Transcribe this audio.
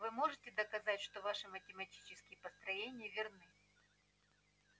вы можете доказать что ваши математические построения верны